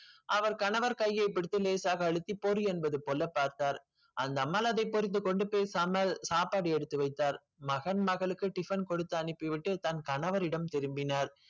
அவள் கணவர் கையை பிடித்து லேசாக அழுத்தி போடி என்று பார்த்தால், அந்த அம்மாள் அதை பொறுத்து கொண்டு பேசாமல் சாப்பாடு எடுத்து வைத்தால், மகன் மகளுக்கு tiffin கொடுத்து அனுப்பி விட்டு தன் கணவரிடம் திரும்பினால்.